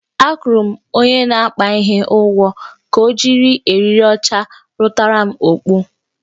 Akwụrụ m onye na-akpa ihe ụgwọ ka ojiriri eriri ọcha rutaram okpu